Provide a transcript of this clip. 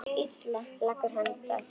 Leggur hönd að kinn.